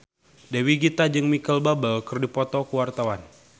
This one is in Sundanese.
Dewi Gita jeung Micheal Bubble keur dipoto ku wartawan